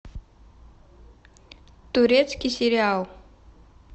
турецкий сериал